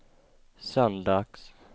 söndags